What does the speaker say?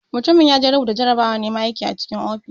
Mutumin yaje rubuta jarabawan naiman aiki a cikin ofis.